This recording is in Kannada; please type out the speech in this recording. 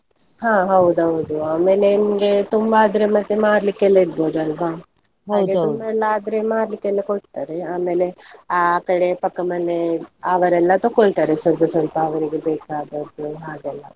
ಹಾ ಹೌದೌದು, ಆಮೇಲೆ ನಿಮ್ಗೆ ತುಂಬಾ ಆದರೆ ಮತ್ತೆ ಮಾರ್ಲಿಕ್ಕೆ ಎಲ್ಲ ಇಡ್ಬೋದು ಅಲ್ವಾ? ಎಲ್ಲ ಆದ್ರೆ ಮಾರ್ಲಿಕ್ಕೆ ಎಲ್ಲ ಕೊಡ್ತಾರೆ ಆಮೇಲೆ ಆ ಕಡೆ ಪಕ್ಕದ್ಮನೆ ಅವರೆಲ್ಲ ತಗೊಳ್ತಾರೆ ಸ್ವಲ್ಪ ಸ್ವಲ್ಪ ಅವರಿಗೆ ಬೇಕಾದದ್ದು ಹಾಗೆಲ್ಲಾ.